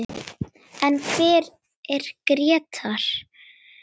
En hver er Grétar?